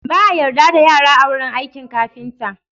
Ba a yarda da yara a wurin aikin kafinta.